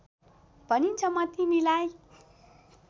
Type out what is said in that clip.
भनिछ म तिमीलाई